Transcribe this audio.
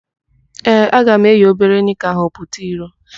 Ee, aga m eyi obere nịka ahụ pụta iro.